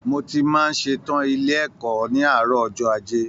Mó tí màá n ṣetan ilé ẹ̀kọ́ ní àárọ̀ ọjọ́ ajé.